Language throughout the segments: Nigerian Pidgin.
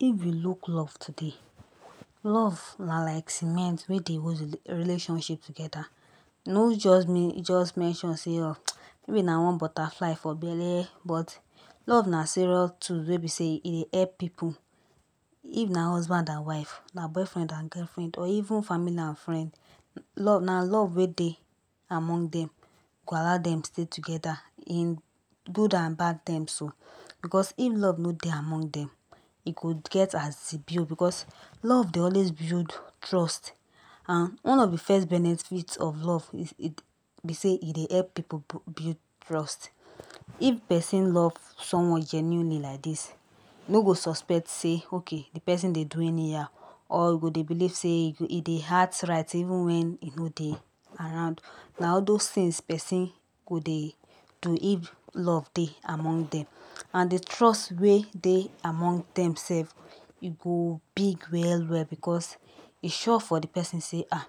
If we look love today, love na like cement wey dey hold relationship together nor just mean just mention say [um maybe na one butterfly for belle but love na serious tool wey be say e dey help pipu. If na husband and wife, na boyfriend and girlfriend or even family and friend love na love wey dey among dem go allow dem stay together in good and bad terms oh, because if love nor dey among dem e go get as e be oh, because love dey always build trust and one of de first benefits love is it be say e dey help pipu build trust. If person love someone genuinely like dis e nor go suspect sey ok de person do anyhow or go dey believe sey e dey act right even wen e nor dey around. Na all those things person go dey do if love dey among dem and de trust wey dey among dem self go big well well, because e sure for de person sey um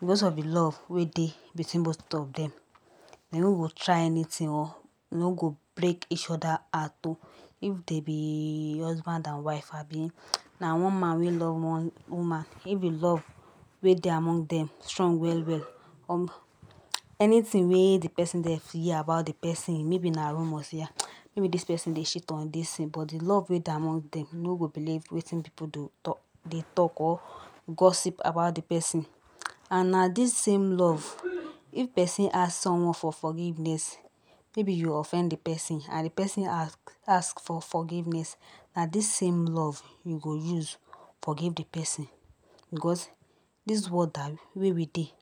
because of de love wey dey between both of dem, dem nor go try anything, dem nor go break each other heart um. If they be husband and wife abi na one man wey love one woman, if de love wey dey among dem strong well well um, anything wey de person dey fear about de person maybe na rumor sey um maybe de person dey shit on dis thing but de love wey dey among dem nor go believe wetin pipu go talk dey talk or gossip about de person and na dis same love if person ask someone for forgiveness, maybe you offend de person and de person ask ask for forgiveness na dis same love you go use forgive de person, because dis world um wey we dey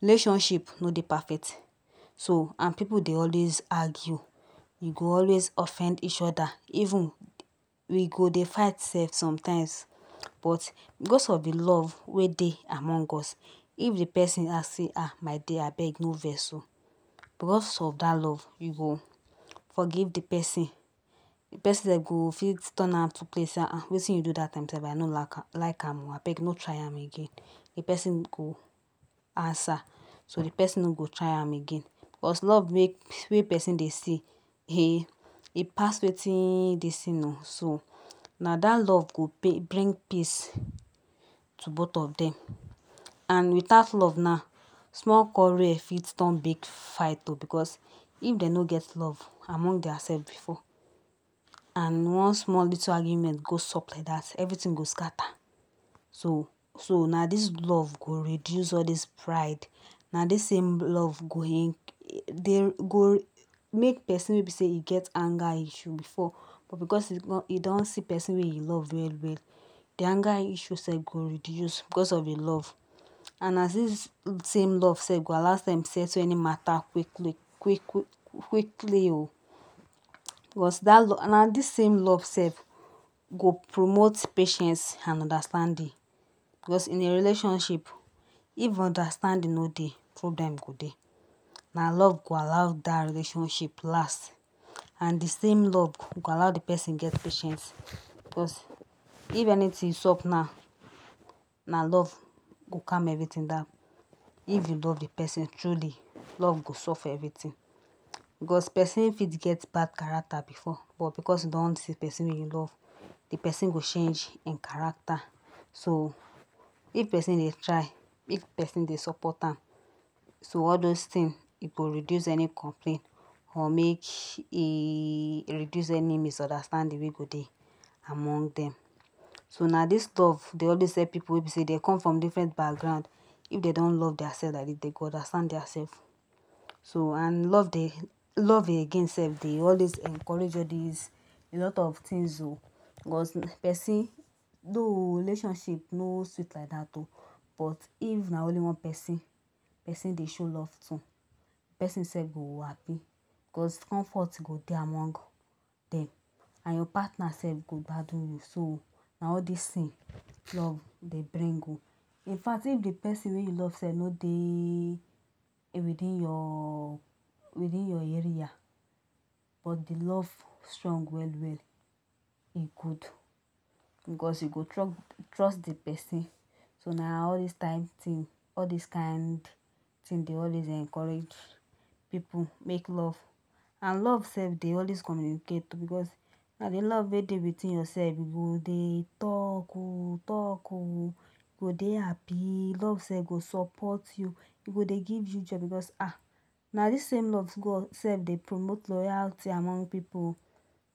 relationship nor dey perfect so and pipu dey always argue, go always offend each other even we go dey fight self sometimes, but because of de love wey dey among us if de person ask sey um my dear abeg nor vex o, because of dat love you go forgive de person, de person de go fit turn out to um wetin you do dat time self I nor like am like am um abeg nor try am again de person go answer so de person nor go try am again. Because love wey person dey see e pass wetin dis thing um, so na dat love go pay bring peace to both of dem and without love now small quarrel fit turn to big fight um because if dem nor get love among their self before and one small little argument go sop like dat everything go scatter. So so na dis love go reduce all dis pride, na dis same love go in dey go make person wey be sey e get anger issue before but because e kon e don see person wey e love well well de anger issue self go reduce because of im love and na dis same love self go allow dem settle any matter quickly quick quickly o because dat love and na dis same love self go promote patience and understanding, because in a relationship if understanding nor dey problem go dey. Na love go allow dat relationship last and de same love go allow de person get patience because if anything sop now na love go calm everything down. If you love de person truly love go solve everything because person fit get bad character before but because he don see person wey he love de person go change im character. So if person dey try if person dey support am, so all those thing, e go reduce any complain or make e reduce any misunderstanding wey go dey among dem. So na dis love dey always help pipu wey e be sey dem come from different background, if dem don love their self like dis dem go understand their self. So and love dey love again self dey always encourage all dis a lot of things um, because person though relationship nor dey sweet like dat um but if na only one person person dey show love to, person self go happy because comfort go dey among dem and your partner self go gbadu you. So na all dis thing love dey bring um, in fact if de person wey you love self nor dey within your within your area but de love strong well well e good because you go trust trust de person. So na all dis type thing all dis kind thing dey always encourage pipu make love and love self dey always communicate because na de love wey dey within yourself, you go dey talk um talk o, you go dey happy, love self go support you e go dey give you joy because um na dis same love go self dey promote loyalty among pipu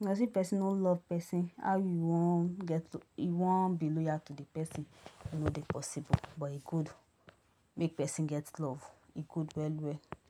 but if person nor love person how you want take get you want be loyal to de person, e nor dey possible but e good make person get love, e good well well.